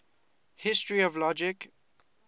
history of logic